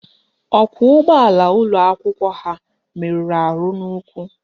Ọkwọụgbọala ụlọakwụkwọ ha meruru ahụ n'ụkwụ